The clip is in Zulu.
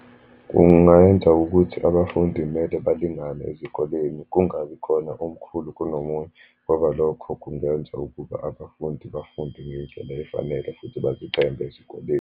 Kungayenza ukuthi abafundi mele balingane ezikoleni, kungabi khona omkhulu kunomunye, ngoba lokho kungenza ukuba abafundi bafunde ngendlela efanele, futhi bazithembe ezikoleni.